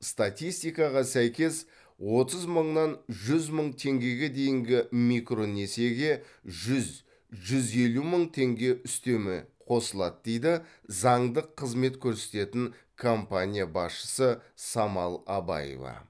статистикаға сәйкес отыз мыңнан жүз мың теңгеге дейінгі микронесиеге жүз жүз елу мың теңге үстеме қосылады дейді заңдық қызмет көрсететін компания басшысы самал абаева